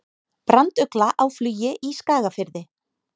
Brandugla á flugi í Skagafirði.